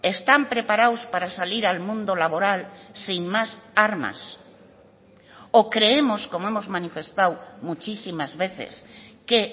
están preparados para salir al mundo laboral sin más armas o creemos como hemos manifestado muchísimas veces que